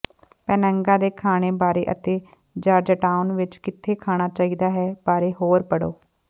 ਪੇਨਾਗਾ ਦੇ ਖਾਣੇ ਬਾਰੇ ਅਤੇ ਜਾਰਜਟਾਊਨ ਵਿਚ ਕਿੱਥੇ ਖਾਣਾ ਚਾਹੀਦਾ ਹੈ ਬਾਰੇ ਹੋਰ ਪੜ੍ਹੋ